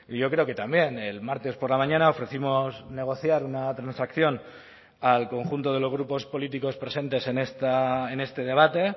yo creo que también el martes por la mañana ofrecimos negociar una transacción al conjunto de los grupos políticos presentes en este debate